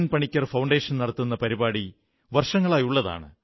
Panicker foundation നടത്തുന്ന പരിപാടി വർഷങ്ങളായുള്ളതാണ്